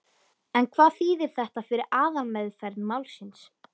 En hvað þýðir þetta fyrir aðalmeðferð málsins?